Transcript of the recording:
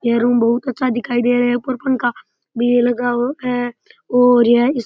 ये रूम बहुत अच्छा दिखाई दे रहा है ऊपर पंखा भी लगा है और यह --